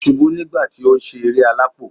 O subú nígbà ti o n sé eré alápò